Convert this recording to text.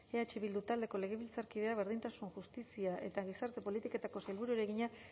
eh bildu taldeko legebiltzarkideak berdintasun justizia eta gizarte politiketako sailburuari egina